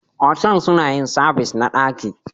Otal suna yin sabis na daki.